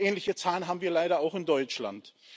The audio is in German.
Ähnliche Zahlen haben wir leider auch in Deutschland.